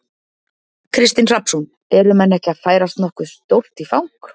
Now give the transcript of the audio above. Kristinn Hrafnsson: Eru menn ekki að færast nokkuð stórt í, í fang?